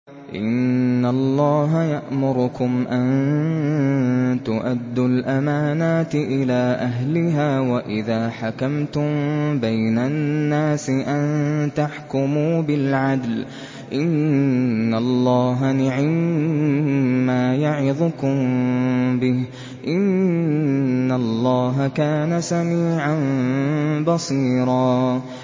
۞ إِنَّ اللَّهَ يَأْمُرُكُمْ أَن تُؤَدُّوا الْأَمَانَاتِ إِلَىٰ أَهْلِهَا وَإِذَا حَكَمْتُم بَيْنَ النَّاسِ أَن تَحْكُمُوا بِالْعَدْلِ ۚ إِنَّ اللَّهَ نِعِمَّا يَعِظُكُم بِهِ ۗ إِنَّ اللَّهَ كَانَ سَمِيعًا بَصِيرًا